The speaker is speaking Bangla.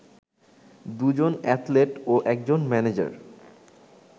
দুজন অ্যাথলেট ও একজন ম্যানেজার